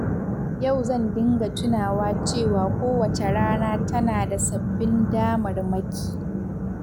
Yau zan dinga tunawa cewa kowace rana tana da sabbin damarmaki.